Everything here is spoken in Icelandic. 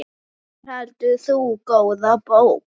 Hvað heldur þú, góða bók?